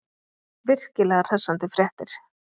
Virkilega hressandi fréttir.